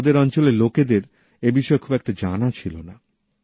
ওদের অঞ্চলের লোকেদের এই বিষয় খুব একটা জানা ছিল না